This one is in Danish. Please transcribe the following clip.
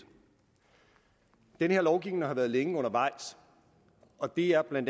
den her lovgivning har været længe undervejs og det er bla